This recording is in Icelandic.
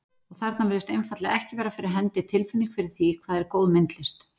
Og þarna virðist einfaldlega ekki vera fyrir hendi tilfinning fyrir því, hvað er góð myndlist.